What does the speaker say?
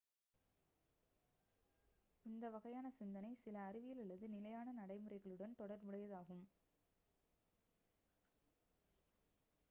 இந்த வகையான சிந்தனை சில அறிவியல் அல்லது நிலையான நடைமுறைகளுடன் தொடர்புடையதாகும்